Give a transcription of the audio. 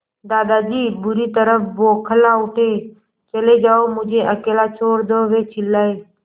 दादाजी बुरी तरह बौखला उठे चले जाओ मुझे अकेला छोड़ दो वे चिल्लाए